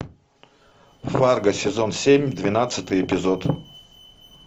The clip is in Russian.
фарго сезон семь двенадцатый эпизод